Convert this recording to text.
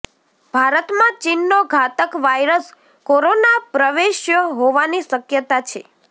ભારતમાં ચીનનો ઘાતક વાયરસ કોરોના પ્રવેશ્યો હોવાની શક્યતા છે